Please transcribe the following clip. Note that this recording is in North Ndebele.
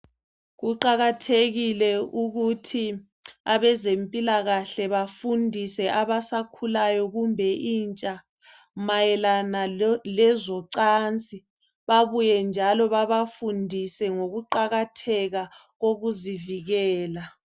Kuqakathekile ukuthi abeze mpilakahle bafundise abasakhulayo kumbe intsha mayelana lezo cansi babuye njalo babafundise ngokuqakathekalokuzivikela